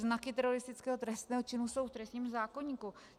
Znaky teroristického trestného činu jsou v trestním zákoníku.